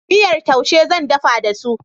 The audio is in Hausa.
Miyar taushe zan dafa da su.